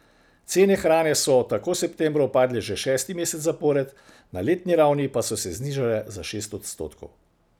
Cene hrane so tako septembra upadle že šesti mesec zapored, na letni ravni pa so se znižale za šest odstotkov.